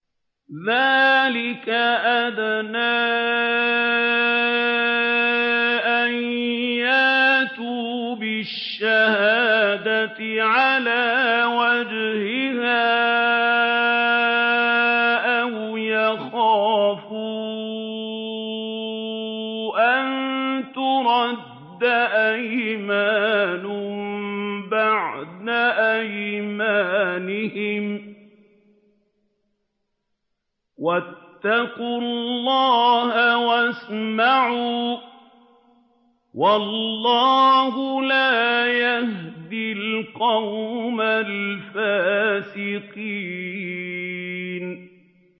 ذَٰلِكَ أَدْنَىٰ أَن يَأْتُوا بِالشَّهَادَةِ عَلَىٰ وَجْهِهَا أَوْ يَخَافُوا أَن تُرَدَّ أَيْمَانٌ بَعْدَ أَيْمَانِهِمْ ۗ وَاتَّقُوا اللَّهَ وَاسْمَعُوا ۗ وَاللَّهُ لَا يَهْدِي الْقَوْمَ الْفَاسِقِينَ